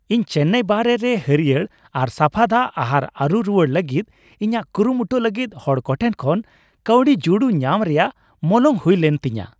ᱤᱧ ᱪᱮᱱᱟᱭ ᱵᱟᱦᱨᱮ ᱨᱮ ᱦᱟᱹᱨᱭᱟᱹᱲ ᱟᱨ ᱥᱟᱯᱷᱟ ᱫᱟᱜ ᱟᱦᱟᱨ ᱟᱨᱩ ᱨᱩᱣᱟᱹᱲ ᱞᱟᱹᱜᱤᱫ ᱤᱧᱟᱹᱜ ᱠᱩᱨᱩᱢᱩᱴᱩ ᱞᱟᱹᱜᱤᱫ ᱦᱚᱲ ᱠᱚ ᱴᱷᱮᱱ ᱠᱷᱚᱱ ᱠᱟᱹᱣᱰᱤ ᱡᱩᱲᱩ ᱧᱟᱢ ᱨᱮᱭᱟᱜ ᱢᱚᱞᱚᱝ ᱦᱩᱭᱞᱮᱱ ᱛᱤᱧᱟᱹ ᱾